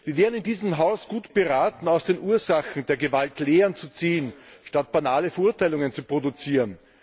Wir wären in diesem Haus gut beraten, aus den Ursachen der Gewalt Lehren zu ziehen, statt banale Verurteilungen zu produzieren.